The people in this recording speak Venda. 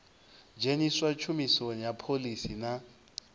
dzheniswa tshumisoni ha phoḽisi na